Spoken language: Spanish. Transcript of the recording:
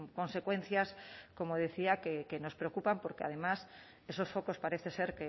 consecuencias como decía que nos preocupan porque además esos focos parece ser